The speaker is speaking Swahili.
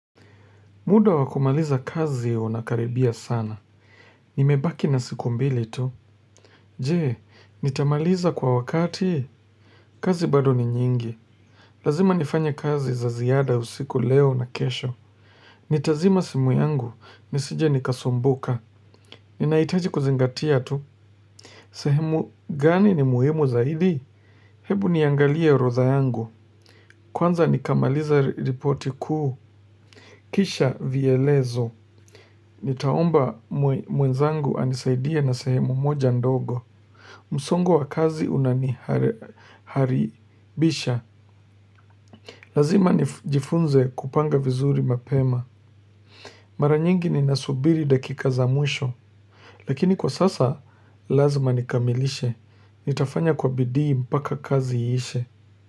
Muda wa kumaliza kazi unakaribia sana. Nimebaki na siku mbili tu. Jee, nitamaliza kwa wakati? Kazi bado ni nyingi. Lazima nifanye kazi za ziada usiku, leo na kesho. Nitazima simu yangu. Nisije nikasumbuka. Ninaitaji kuzingatia tu. Sehemu, gani ni muhimu zaidi? Hebu niangalie orodha yangu. Kwanza nikamalize ripoti kuu. Kisha vielezo. Nitaomba mwenzangu anisaidie na sehemu moja ndogo. Msongo wa kazi unaniharibisha. Lazima nijifunze kupanga vizuri mapema. Mara nyingi ninasubiri dakika za mwisho. Lakini kwa sasa lazma nikamilishe. Nitafanya kwa bidii mpaka kazi iishe.